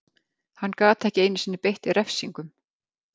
Hann gat ekki einu sinni beitt refsingum.